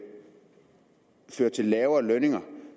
fører til lavere lønninger